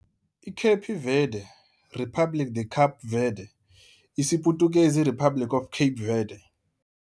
iKhepi Vedhi - "República de Cabo Verde", isiPutukezi, Republic of Cape Verde.